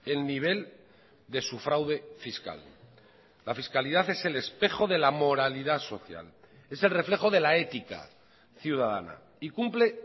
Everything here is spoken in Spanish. el nivel de su fraude fiscal la fiscalidad es el espejo de la moralidad social es el reflejo de la ética ciudadana y cumple